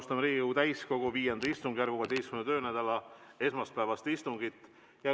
Alustame Riigikogu täiskogu V istungjärgu 16. töönädala esmaspäevast istungit.